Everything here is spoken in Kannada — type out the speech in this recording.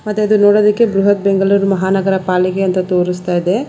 ಮತ್ತೆ ಅದು ನೋಡುವುದಕ್ಕೆ ಬೃಹತ್ ಬೆಂಗಳೂರು ಮಹಾನಗರ ಪಾಲಿಕೆ ಅಂತ ತೋರಿಸ್ತಾ ಇದೆ.